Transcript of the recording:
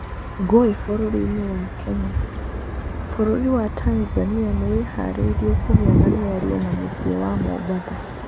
Ngũĩ bũrũri-nĩ wa Kenya. Bũrũri wa Tanzania nĩ wĩharĩirie kũgĩa na mĩario na mũciĩ wa Mombatha.